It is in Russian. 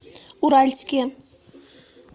уральские